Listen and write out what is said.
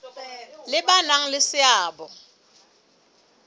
le ba nang le seabo